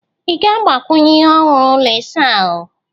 Ị ga-agbakwunye ihe ọhụrụ ụlọ ịsa ahụ?